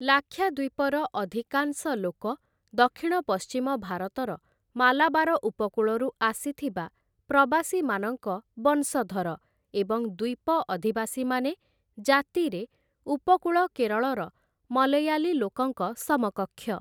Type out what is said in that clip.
ଲାକ୍ଷାଦ୍ୱୀପର ଅଧିକାଂଶ ଲୋକ ଦକ୍ଷିଣ ପଶ୍ଚିମ ଭାରତର ମାଲାବାର ଉପକୂଳରୁ ଆସିଥିବା ପ୍ରବାସୀମାନଙ୍କ ବଂଶଧର, ଏବଂ ଦ୍ୱୀପ ଅଧିବାସୀମାନେ ଜାତିରେ ଉପକୂଳ କେରଳର ମଲୟାଲୀ ଲୋକଙ୍କ ସମକକ୍ଷ ।